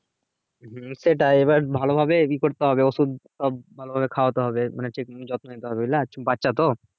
সেটাই এবার ভালো ভাবে করতে হবে ওষুধ ভালো ভাবে খাওয়াতে হবে মানে ঠিক মতো যত্ন নিতে হবে বাচ্ছা তো